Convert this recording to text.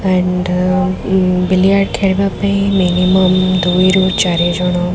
and ବିଲିଆ ଖେଳବା ପାଇଁ ମିନିମମ ଦୁଇରୁ ଚାରିଜଣ --